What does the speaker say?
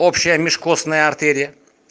общая межкостная артерия